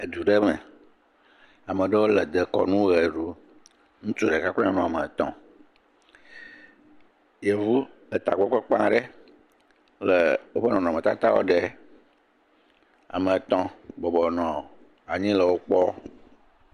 Edu ɖe me. Ame aɖewo le dekɔnu ʋe ɖum. Ŋutsu ɖeka kple nyɔnu woame etɔ. Yevu etagbɔ kpakpã aɖe le woƒe nɔnɔme tatawo ɖe. Ame etɔ bɔbɔ nɔ anyi le wokpɔm.